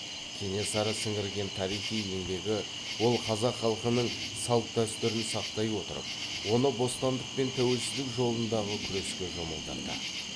кенесары сіңірген тарихи еңбегі ол қазақ халқының салт дәстүрін сақтай отырып оны бостандық пен тәуелсіздік жолындағы күреске жұмылдырды